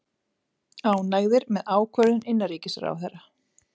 Ánægðir með ákvörðun innanríkisráðherra